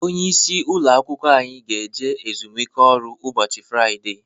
Onye isi ụlọ akwụkwọ anyị ga eje ezumike ọrụ ụbọchị Fraịdee